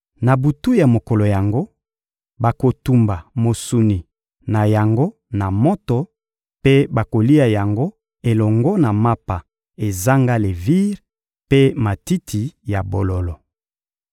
Na butu ya mokolo yango, bakotumba mosuni na yango na moto mpe bakolia yango elongo na mapa ezanga levire mpe matiti ya bololo.